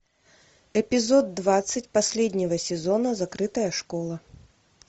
эпизод двадцать последнего сезона закрытая школа